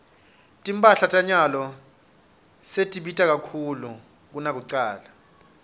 timphahla tanyalo setibita kakhulu kunakucala